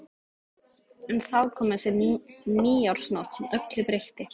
En þá kom þessi nýársnótt sem öllu breytti.